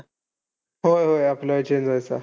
होय, होय. आपलं change व्हायचा.